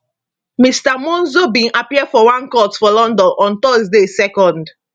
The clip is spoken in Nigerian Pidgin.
mr monzo bin appear for one court for london on thursday 2